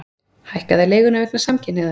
Hækkaði leiguna vegna samkynhneigðar